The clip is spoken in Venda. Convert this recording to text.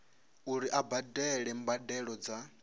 uri a badele mbadelo dza